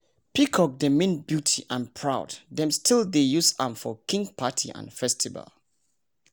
peacock dey mean beauty and proud. dem still dey use am for king party and festival